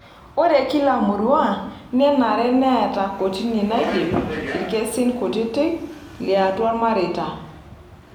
Ore kila murua nenare neeta kotini naidip ilkesin kutitik liatua ilmareita.